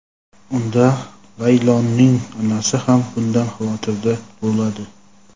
unda Layloning onasi ham bundan xavotirda bo‘ladi.